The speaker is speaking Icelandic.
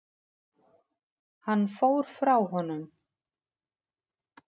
Hann fór frá honum.